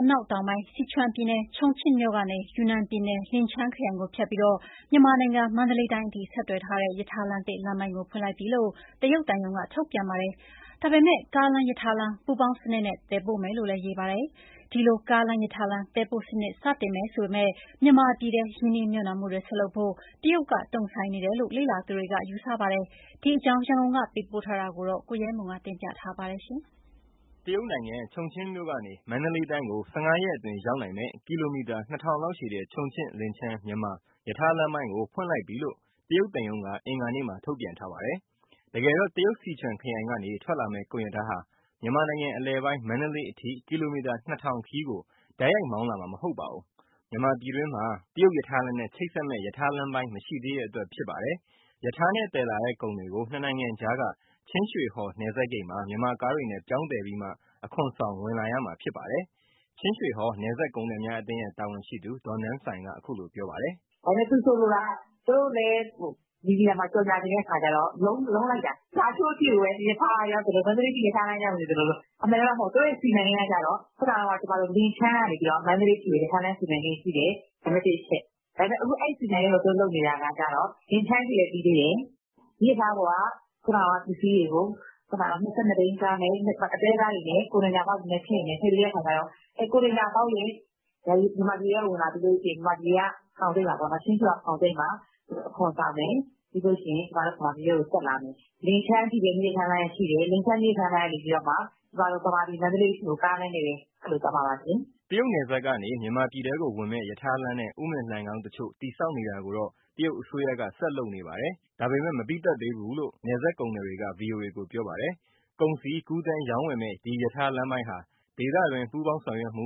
အနာက်တောင်ပိုင်း စီချွမ်ပြည်နယ်၊ ချုံချင့်မြို့ကနေ ယူနန်ပြည်နယ်၊ လင်ချန်းခရိုင်ကိုဖြတ်ပြီး မြန်မာနိုင်ငံ မန္တလေးတိုင်း အထိ ဆက်သွယ်ထားတဲ့ ရထားလမ်းသစ် လမ်းပိုင်းကို ဖွင့်လိုက်ပြီလို့ တရုတ်သံရုံးက ထုတ်ပြန်ပါတယ်။ ဒါပေမဲ့ ကားလမ်း-ရထားလမ်း ပူးပေါင်းစနစ်နဲ့ သယ်ပို့မယ်လို့ ရေးပါတယ်။ ဒီလိုကားလမ်း-ရထားလမ်း သယ်ပို့စနစ် စတင်မယ်ဆိုပေမဲ့ မြန်မာပြည်ထဲ ရင်းနှီးမြှုပ်နှံမှုတွေ ဆက်လုပ်ဖို့ တရုတ်က တုံ့ဆိုင်းနေတယ်လို့ လေ့လာသူတွေ ယူဆကြပါတယ်။ ဒီအကြောင်း ရန်ကုန်က သတင်းပေးပို့ထားတာကို ကိုရဲမွန် တင်ပြပေးပါမယ်။ တရုတ်ချုံချင့်မြို့ကနေ မန္တလေးတိုင်းကို ၁၅ရက်အတွင်းရောက်နိုင်မယ့် ကီလိုမီတာ ၂,၀၀၀ လောက်ရှည်တဲ့ ချုံချင့်- လင်ချန်း- မြန်မာ ရထားလမ်းပိုင်း ဖွင့်လိုက်ပြီလို့ တရုတ်သံရုံးက အင်္ဂါနေ့မှာ ထုတ်ပြန်ပါတယ်။ တကယ်တော့ တရုတ်စီချွမ်ခရိုင်ကနေ ထွက်လာမယ့် ကုန်ရထားဟာ မြန်မာနိုင်ငံအလယ်ပိုင်း မန္တလေးအထိ ကီလိုမီတာ ၂,၀၀၀ ခရီးကို တိုက်ရိုက်မောင်းလာမှာ မဟုတ်ပါဘူး။ မြန်မာပြည်တွင်းမှာ တရုတ်ရထားလမ်းနဲ့ ချိတ်ဆက်မယ့် ရထားလမ်းပိုင်း မရှိသေးတဲ့အတွက် ဖြစ်ပါတယ်။ ရထားနဲ့သယ်လာတဲ့ ကုန်တွေကို နှစ်နိုင်ငံကြားက ချင်းရွှေဟော် နယ်စပ်ဂိတ်မှာ မြန်မာကားတွေနဲ့ ပြောင်းသယ်ပြီး အခွန်ဆောင် ဝင်လာမှာ ဖြစ်ပါတယ်။ ချင်းရွှေဟော် နယ်စပ်ကုန်သည်များ အသင်းရဲ့ တာဝန်ရှိသူ ဒေါ်နန်းဆိုင်မ်က အခုလိုပြောပါတယ်။ " သူ ဆိုလိုတာက သူတို့လည်း မီဒီယာမှာ ကြေညာ ချင်တဲ့အခါကျတော့ လုံးလိုက်တာ။ လားရှိုးအထိပဲ ရထားကရောက်သလိုလို၊ မန္တလေးအထိ ရထားကရောက်နေသလိုလို။ အမှန်ကအဲလိုမဟုတ်ဘူး သူတို့ရဲ့စီမံကိန်းက ခုကန လင်ချန်းကနေ မန္တလေးအထိကို ရထားလမ်းစီမံကိန်းရှိတယ် နံပတ်တစ်အချက်။ ဒါပေမဲ့ အဲဒီစီမံကိန်းကို သူတို့လုပ်နေတာကကျတော့ လင်ခန်းအထိပဲ ပြီးသေးတယ်။ မီးရထားပေါ်က ခုနကပစ္စည်းတွေကို ၂၂ဘီးကား တွဲကားတွေနဲ့ ကွန်တိန်နာဘောက်စ်တွေနဲ့ထည့်ပြီး မြန်မာပြည်ထဲဝင်လာပြီး ချင်းရွှေဟော်ဖောင်ဆိပ်မှာ အခွန်ဆောင်မယ်။ ပြီးရင် ဗမာပြည်ထဲကိုဆက်လာမယ်။ လင်ချန်းအထိပဲ မီးရထားလမ်းကရှိတယ် လင်ချန်းမီးရထားလမ်းကနေ ဗမာပြည်မန္တလေးအထိကို ကားလမ်းနဲ့ပဲ သွားမှာပါ။" တရုတ်နယ်စပ်ကနေ မြန်မာပြည်ထဲကိုဝင်မယ့် ရထားလမ်းနဲ့ ဥမင်လှိုဏ်ခေါင်းတချို့ တည်ဆောက်နေတာကိုတော့ တရုတ်အစိုးရက ဆက်လုပ်နေပါတယ်။ ဒါပေမဲ့ အပြီးမသတ်သေးဘူးလို့ နယ်စပ်ကုန်သည်တွေက ဗွီအိုအေကို ပြောပါတယ်။ ကုန်စည်ကူးသန်းရောင်းဝယ်မယ့် ဒီရထားလမ်းပိုင်းဟာ ဒေသတွင်း ပူးပေါင်းဆောင်ရွက်မှု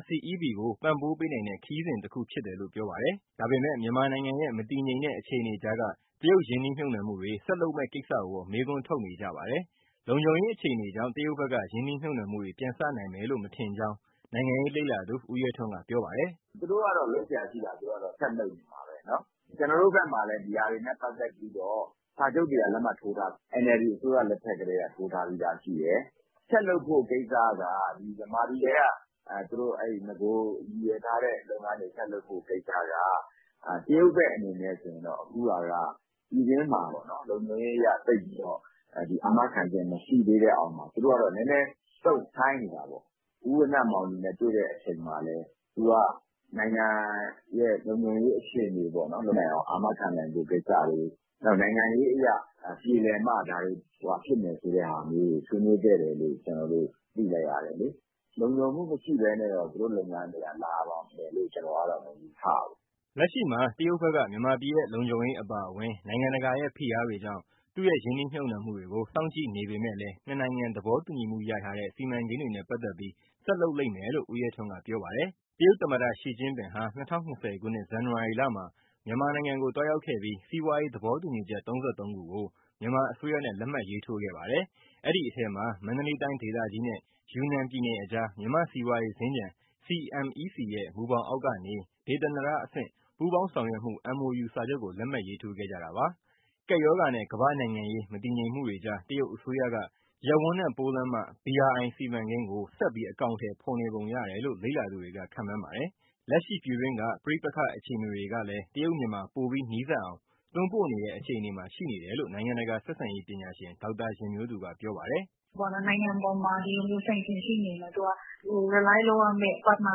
RCEP ကို ပံ့ပိုးပေးနိုင်တဲ့ ခရီးစဉ်တခုဖြစ်တယ်လို့ ပြောပါတယ်။ ဒါပေမဲ့ မြန်မာနိုင်ငံရဲ့ မတည်ငြိမ်တဲ့ အခြေအနေကြားက တရုတ်ရင်းနှီးမြှုပ်နှံမှုတွေ ဆက်လုပ်မယ့်ကိစ္စကိုတော့ မေးခွန်းထုတ်နေကြပါတယ်။ လုံခြုံရေးအခြေအနေကြောင့် တရုတ်ဘက်က ရင်းနှီးမြှုပ်နှံမှုတွေ ပြန်စနိုင်လိမ့်မယ်လို့ မထင်ကြောင်း နိုင်ငံရေးလေ့လာသူ ဦးရဲထွန်း က ပြောပါတယ်။ " သူတို့ကတော့ လုပ်စရာရှိတာ ဆက်လုပ်နေမှာပဲ။ ကျနော်တို့ဘက်မှာလည်း ဒီဟာတွေနဲ့ပတ်သက်ပြီးတော့ စာချုပ်တွေက NLD အစိုးရလက်ထက်ကတည်းက ထိုးထားပြီးသားရှိတယ်။ ဆက်လုပ်ဖို့ကိစ္စက မြန်မာပြည်ထဲက နဂိုရည်ရွယ်ထားတဲ့လုပ်ငန်းတွေ ဆက်လုပ်ဖို့ကိစ္စက တရုတ်ဘက်အနေနဲ့ဆို အခုဟာက ပြည်တွင်းမှာ လုံခြုံရေးအရ အာမခံချက်မရှိသေးတဲ့ အောက်မှာ သူတို့က နည်းနည်းတုံ့ဆိုင်းနေတာပေါ့။ ဦးဝဏ္ဏမောင်လွင်နဲ့ တွေ့တဲ့အချိန်မှာလည်း သူက နိုင်ငံရဲ့ လုံခြုံရေးအခြေအနေကို အာမခံနိုင်ဖို့ကိစ္စတွေ နိုင်ငံရေးအရ ပြေလည်မှဖြစ်မယ် ဆိုတဲ့ဟာမျိုးတွေ ဆွေးနွေးခဲ့တယ်လို့ သိလိုက်ရတယ်လေ။ လုံခြုံမှုမရှိဘဲနဲ့တော့ သူတို့လုပ်ငန်းတွေက လာမယ်လို့ကျနော်က မယူဆဘူး။" လက်ရှိမှာ တရုတ်ဘက်က မြန်မာပြည်ရဲ့လုံခြုံရေးအပါအဝင် နိုင်ငံတကာရဲ့ ဖိအားတွေကြောင့် သူ့ရဲ့ရင်းနှီးမြှုပ်နှံ့မှုတွေကို စောင့်ကြည့်နေပေမဲ့လည်း နှစ်နိုင်ငံသဘောတူညီမှုရထားတဲ့ စီမံကိန်းတွေနဲ့ပတ်သက်ပြီး ဆက်လုပ်လိမ့်မယ်လို့ ဦးရဲထွန်းက ပြောပါတယ်။ တရုတ်သမ္မတ ရှီကျင့်ပင်ဟာ ၂၀၂၀ ပြည့်နှစ် ဇန်နဝါရီလမှာ မြန်မာနိုင်ငံကိုသွားရောက်ခဲ့ပြီး စီးပွားရေး သဘောတူညီချက် ၃၃ခုကို မြန်မာအစိုးရနဲ့ လက်မှတ်ရေးထိုးခဲ့ပါတယ်။ အဲဒီအထဲမှာ မန္တလေးတိုင်းဒေသကြီးနဲ့ ယူနန်ပြည်နယ်အကြား မြန်မာ့စီးပွားရေးစင်္ကြန် CMEC ရဲ့ မူဘောင်အောက်ကနေ ဒေသန္တရအဆင့် ပူးပေါင်းဆောင်ရွက်မှု MoU စာချုပ်ကို လက်မှတ်ရေးထိုးခဲ့ကြတာပါ။ ကပ်ရောဂါနဲ့ ကမ္ဘာ့နိုင်ငံရေး မတည်ငြိမ်မှုတွေကြားမှာ တရုတ်အစိုးရက ရပ်ဝန်းနဲ့ပိုးလမ်းမ BRI စီမံကိန်းကို ဆက်ပြီးအကောင်အထည် ဖော်နေပုံရတယ်လို့ လေ့လာသူတွေက ခန့်မှန်းပါတယ်။ လက်ရှိပြည်တွင်းက ပဋိပက္ခအခြေအနေတွေကလည်း တရုတ်- မြန်မာပိုပြီးနီးစပ်အောင် တွန်းပို့နေတဲ့ အခြေအနေမှာရှိနေတယ်လို့ နိုင်ငံတကာဆက်ဆံရေး ပညာရှင် ဒေါက်တာယဉ်မျိုးသူက ပြောပါတယ်။ " နိုင်ငံအပေါ်မှာ ဒီလိုမျိုး sanction ရှိနေရင်တော့ သူrelyလုပ်ရမယ့်၊ partner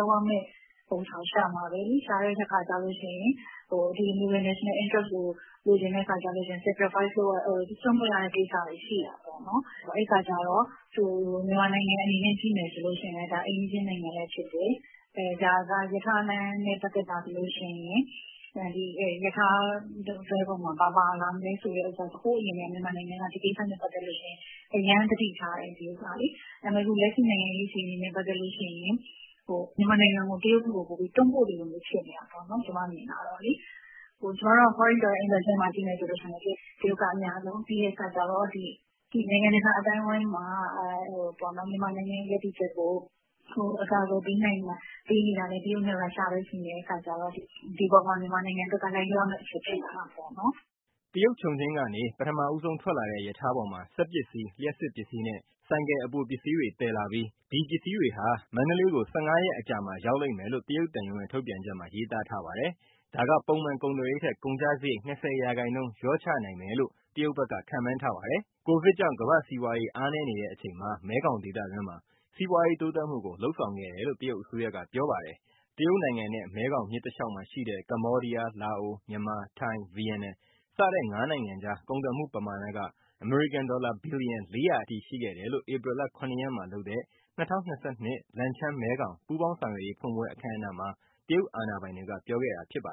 လုပ်ရမယ့်ဟာကို ရှာမှာပဲလေနော်။ ရှာတဲ့အခါကျတော့ ဒီလိုnational interest ကို လိုချင်တဲ့အခါကျ စွန့်လွှတ်ရတဲ့ကိစ္စတွေ ရှိတာပေါ့နော်။ အဲဒီအခါကျ မြန်မာနိုင်ငံအနေနဲ့ ကြည့်မယ်ဆိုရင် ဒါကအိမ်နီးချင်းနိုင်ငံလည်းဖြစ်တယ် ဒါကရထားလမ်းနဲ့ ပတ်သက်တာဆိုရင် ရထားတွဲပေါ်မှာ ဘာပါလာမလဲဆိုတဲ့ဟာက ဟိုးအရင်ကတည်းက မြန်မာနိုင်ငံက ဒီကိစ္စနဲ့ပတ်သက်လို့ အရမ်းသတိထားတယ်။ ဒါပေမဲ့ လက်ရှိနိုင်ငံရေးအခြေအနေနဲ့ ပတ်သက်လို့ မြန်မာနိုင်ငံကို တရုတ်ဘက်ကို ပိုပြီးတွန်းပို့သလိုမျိုး ဖြစ်နေတာပေါ့နော် ကျမမြင်တာကလေ။ ကျမတို့က foreign direct investment ကို ကြည့်မယ်ဆိုရင် တရုတ်ကအများဆုံး၊ ပြီးရင် နိုင်ငံတကာ အသိုင်းအဝန်းမှာ မြန်မာနိုင်ငံရဲ့ ရပ်တည်ချက်ကို အကာအကွယ်ပေးနေတာလည်း တရုတ်နဲ့ ရုရှားပဲရှိတဲ့အခါကျတော့ ဒီအပေါ်မှာ မြန်မာနိုင်ငံအတွက်က လိုက်လျောရမယ့်အချက် ဖြစ်လာတာပေါ့နော်။" တရုတ်ချုံချင်းကနေ ပထမဦးဆုံးထွက်လာတဲ့ ရထားပေါ်မှာ စက်ပစ္စည်း၊ လျှပ်စစ်ပစ္စည်းနဲ့ ဆိုင်ကယ်အပိုပစ္စည်းတွေ သယ်လာပြီး၊ ဒီပစ္စည်းတွေဟာ မန္တလေးကို ၁၅ရက်အကြာမှာ ရောက်လိမ့်မယ်လို့ တရုတ်သံရုံးရဲ့ ထုတ်ပြန်ချက်မှာ ရေးသားထားပါတယ်။ ဒါက ပုံမှန်ကုန်သွယ်ရေးထက် ကုန်ကျစရိတ်ကို ၂၀ရာခိုင်နှုန်း လျှော့ချနိုင်မယ်လို့ တရုတ်ဘက်က ခန့်မှန်းထားပါတယ်။ ကိုဗစ်ကြောင့် ကမ္ဘာ့စီးပွားရေး အားနည်းနေတဲ့အချိန်မှာ မဲခေါင်ဒေသတွင်းမှာ စီးပွားရေးတိုးတက်မှုကို လုပ်ဆောင်ခဲ့တယ်လို့ တရုတ်အစိုးရက ပြောပါတယ်။ တရုတ်နိုင်ငံနဲ့ မဲခေါင်မြစ်တလျှောက်မှာရှိတဲ့ ကမ္ဘောဒီးယား၊ လာအို၊ မြန်မာ၊ ထိုင်း၊ ဗီယက်နမ် စတဲ့ငါးနိုင်ငံကြား ကုန်သွယ်မှုပမာဏက အမေရိကန်ဒေါ်လာ ဘီလီယံ ၄၀၀ အထိရှိခဲ့တယ်လို့ ဧပြီလ၇ရက်မှာလုပ်တဲ့ ၂၀၂၂ လန်ချန်း- မဲခေါင်ပူးပေါင်းဆောင်ရွက်ရေး ဖွင့်ပွဲအခမ်းအနားမှာ တရုတ်အာဏာပိုင်တွေက ပြောခဲ့တာပါ